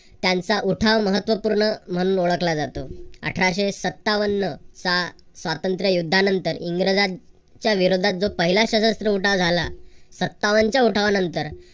त्यांचा उठाव महत्वपूर्ण म्हणून ओळखला जातो. अठराशे सत्तावन चा स्वातंत्र्य युद्धानंतर इंग्रजांच्या विरोधात जो पहिला सशस्त्र उठाव झाला. सत्तावनच्या उठावानंतर